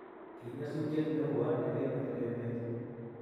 kinyasutiet newon ne kinyor emet